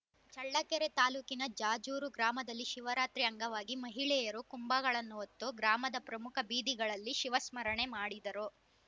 ಚಳ್ಳಕೆರೆ ತಾಲೂಕಿನ ಜಾಜೂರು ಗ್ರಾಮದಲ್ಲಿ ಶಿವರಾತ್ರಿ ಅಂಗವಾಗಿ ಮಹಿಳೆಯರು ಕುಂಭಗಳನ್ನು ಹೊತ್ತು ಗ್ರಾಮದ ಪ್ರಮುಖ ಬೀದಿಗಳಲ್ಲಿ ಶಿವಸ್ಮರಣೆ ಮಾಡಿದರು